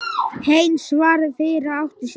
Heinz varð fyrri til að átta sig.